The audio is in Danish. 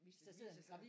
Hvis det viser sig